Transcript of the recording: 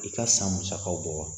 I ka san musakaw bɔ wa